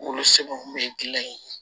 Wolosɛbɛnw kun be gilan yen